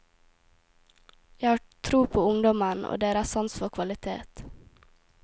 Jeg har tro på ungdommen, og deres sans for kvalitet.